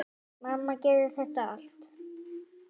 Mamma gerði þetta allt.